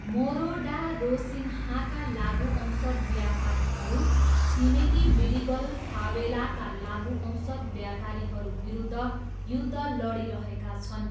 मोरो डा रोसिन्हाका लागुऔषध व्यापारीहरू छिमेकी विडिगल फावेलाका लागुऔषध व्यापारीहरू विरुद्ध युद्ध लडिरहेका छन्।